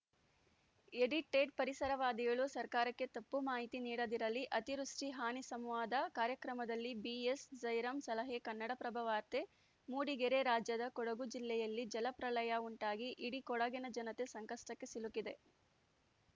edited ಪರಿಸರವಾದಿಗಳು ಸರ್ಕಾರಕ್ಕೆ ತಪ್ಪು ಮಾಹಿತಿ ನೀಡದಿರಲಿ ಅತಿವೃಷ್ಠಿ ಹಾನಿ ಸಂವಾದ ಕಾರ್ಯಕ್ರಮದಲ್ಲಿ ಬಿಎಸ್‌ ಜೈರಾಂ ಸಲಹೆ ಕನ್ನಡಪ್ರಭ ವಾರ್ತೆ ಮೂಡಿಗೆರೆ ರಾಜ್ಯದ ಕೊಡಗು ಜಿಲ್ಲೆಯಲ್ಲಿ ಜಲಪ್ರಳಯ ಉಂಟಾಗಿ ಇಡೀ ಕೊಡಗಿನ ಜನತೆ ಸಂಕಷ್ಟಕ್ಕೆ ಸಿಲುಕಿದೆ